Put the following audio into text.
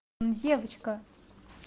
девочка